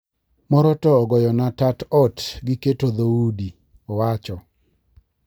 "Moro to ogoyona tat ot gi keto dho udi" owacho.